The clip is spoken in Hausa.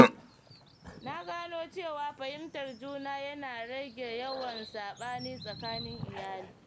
Na gano cewa fahimtar juna yana rage yawan saɓani tsakanin iyali.